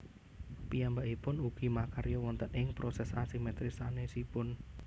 Piyambakipun ugi makarya wonten ing proses asimetris sanésipun